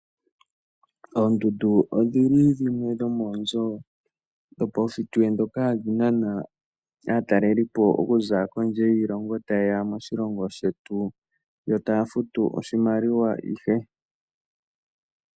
Oondundu odhili dhimwe dhoomonzo dhopawushitwe dhoka hadhi nana aatalelipo okuza kondje yoshilongo taye ya moshilongo shetu. Yo taya futu oshimaliwa.